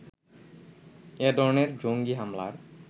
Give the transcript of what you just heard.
এ ধরনের জঙ্গী হামলার